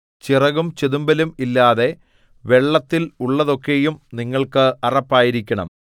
ചിറകും ചെതുമ്പലും ഇല്ലാതെ വെള്ളത്തിൽ ഉള്ളതൊക്കെയും നിങ്ങൾക്ക് അറപ്പായിരിക്കണം